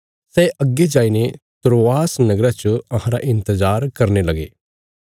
सै अग्गे जाईने त्रोआस नगरा च अहांरा इन्तजार करने लगे